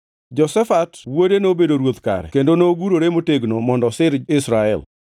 Jehoshafat wuode nobedo ruoth kare kendo nogurore motegno mondo osir Israel.